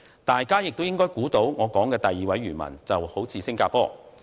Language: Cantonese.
大家也應該猜到，我說的第二位漁民就是新加坡。